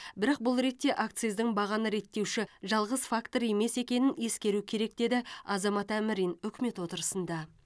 бірақ бұл ретте акциздің бағаны реттеуші жалғыз фактор емес екенін ескеру керек деді азамат әмрин үкімет отырысында